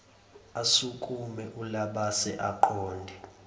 asukume ulabase aqonde